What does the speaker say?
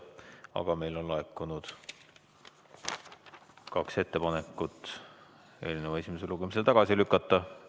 Aga meile on laekunud kaks ettepanekut eelnõu esimesel lugemisel tagasi lükata.